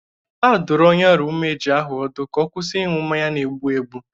Adụrụ onye ọrịa umeji ahụ ọdụ ka ọ kwụsị ịṅụ mmanya na-egbụ egbụ.